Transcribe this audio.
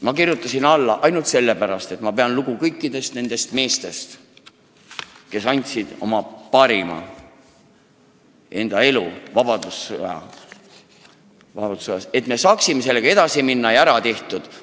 Ma kirjutasin alla ainult sellepärast, et ma pean lugu kõikidest nendest meestest, kes andsid vabadussõjas oma parima, et me saaksime eluga edasi minna ja asjad ära tehtud.